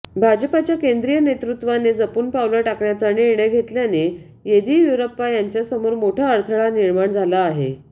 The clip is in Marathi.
भाजपच्या केंद्रीय नेतृत्वाने जपून पावलं टाकण्याचा निर्णय घेतल्याने येदीयुरप्पा यांच्यासमोर मोठा अडथळा निर्माण झाला आहे